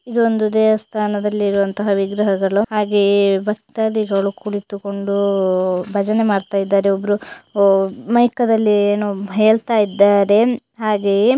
ಇದೊಂದು ದೇವಸ್ಥಾನದಲ್ಲಿರೋವಂತ ವಿಗ್ರಹಗಳು ಹಾಗೆಯೇ ಭಕ್ತಾದಿಗಳು ಕುಳಿತುಕೊಂಡು ಭಜನೆ ಮಾಡ್ತಾಇದ್ದಾರೆ. ಒಬ್ರು ಮೈಕ್ ದಲ್ಲಿ ಏನೋ ಹೇಳ್ತಾ ಇದ್ದಾರೆ. ಹಾಗೆಯೆ--